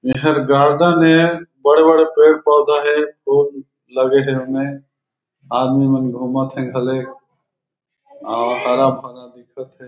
एहर गार्डन हे बड़े-बड़े पेड़-पौधा हे फूल लगे हे एमे आदमी मन घूमत हे घले और हरा-भरा दिखत हे।